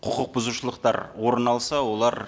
құқық бұзушылықтар орын алса олар